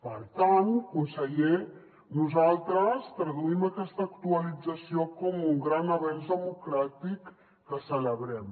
per tant conseller nosaltres traduïm aquesta actualització com un gran avenç democràtic que celebrem